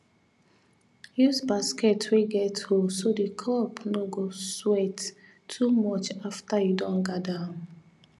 use basket wey get hole so the crop no go sweat too much after you don gather am